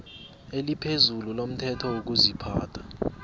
eliphezulu lomthetho wokuziphatha